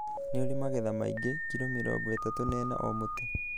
Nĩ ũrĩ magetha maingĩ ( kilo mĩrongo ĩtatu na ĩna o mũtĩ).